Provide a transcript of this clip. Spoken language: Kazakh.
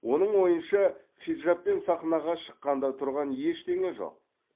оның ойынша хиджабпен сахнаға шыққанда тұрған ештене жоқ